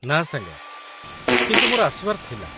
ନା ସାଙ୍ଗ, କିନ୍ତୁ ମୋର ଆସିବାର ଥିଲା